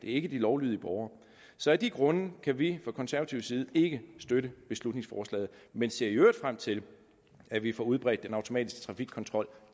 ikke de lovlydige borgere så af de grunde kan vi fra konservativ side ikke støtte beslutningsforslaget men ser i øvrigt frem til at vi får udbredt den automatiske trafikkontrol